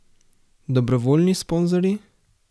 Dobrovoljni sponzorji?